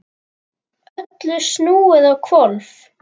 Öllu snúið á hvolf.